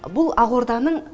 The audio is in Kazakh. бұл ақорданың шығыс залы